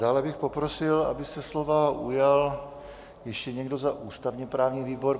Dále bych poprosil, aby se slova ujal ještě někdo za ústavně-právní výbor.